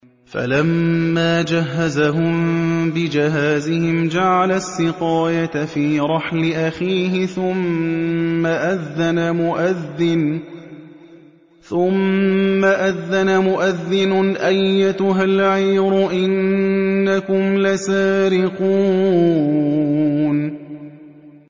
فَلَمَّا جَهَّزَهُم بِجَهَازِهِمْ جَعَلَ السِّقَايَةَ فِي رَحْلِ أَخِيهِ ثُمَّ أَذَّنَ مُؤَذِّنٌ أَيَّتُهَا الْعِيرُ إِنَّكُمْ لَسَارِقُونَ